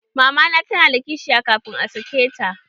Mamana ta na da kishiya kafin a sake ta